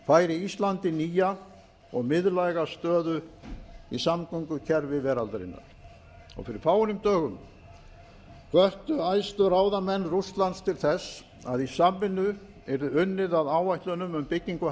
færi íslandi nýja og miðlæga stöðu í samgöngukerfi veraldarinnar fyrir fáeinum dögum hvöttu æðstu ráðamenn rússlands til þess að í samvinnu yrði unnið að áætlunum um byggingu